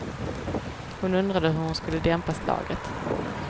Hon undrade hur hon skulle dämpa slaget.